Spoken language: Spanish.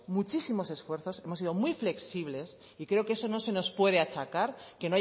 muchísimos esfuerzos hemos sido muy flexibles y creo que eso no se nos puede achacar que